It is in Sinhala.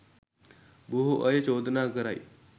බොහෝ අය චෝදනා කරයි